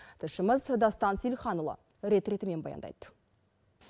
тілшіміз дастан сейілханұлы рет ретімен баяндайды